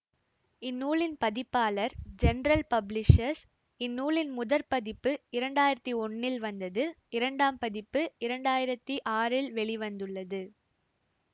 இந்நூலின் பதிப்பாளர் general publishers இந்நூலின் முதற் பதிப்பு இரண்டாயிரத்தி ஒன்னில் வந்தது இரண்டாம் பதிப்பு இரண்டாயிரத்தி ஆறில் வெளிவந்ததுள்ளது